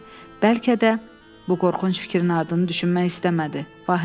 Bəlkə də bu qorxunc fikrin ardını düşünmək istəmədi.